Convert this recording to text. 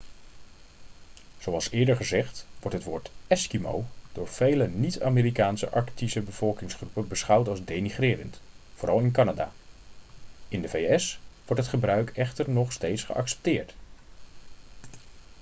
zoals eerder gezegd wordt het woord eskimo' door vele niet-amerikaanse arctische bevolkingsgroepen beschouwd als denigrerend vooral in canada in de vs wordt het gebruik echter nog steeds geaccepteerd